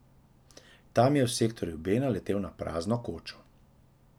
Tam je v sektorju B naletel na prazno kočo.